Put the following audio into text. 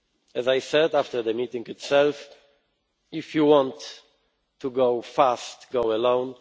As I said after the meeting itself, If you want to go fast, go